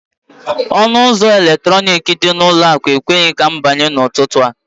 Ọnụ ụzọ eletrọnịkị dị n'ụlọ akụ ekweghị m ịbanye n'ụtụtụ a